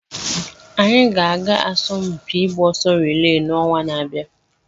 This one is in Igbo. Anyị ga-aga asọmpi ịgba ọsọ riilee n'ọnwa na-abịa.